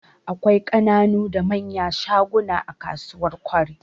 Akwai ƙananu da manyan shaguna a kasuwar Kwari.